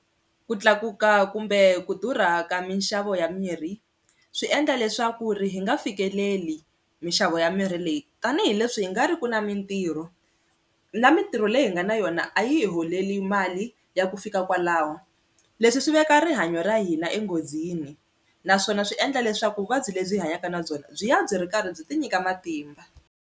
Ku tlakuka kumbe ku durha ka minxavo ya mirhi swi endla leswaku ri hi nga fikeleli minxavo ya mirhi leyi tanihileswi hi nga riki na mintirho, na mintirho leyi hi nga na yona a yi hi holeli mali ya ku fika kwalaho leswi swi veka rihanyo ra hina enghozini naswona swi endla leswaku vuvabyi lebyi hi hanyaka na byona byi ya byi ri karhi byi ti nyika matimba.